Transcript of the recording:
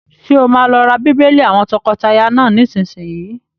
Ṣé o máa lọ ra bíbélì àwọn tọkọtaya náà nísìsiyìí?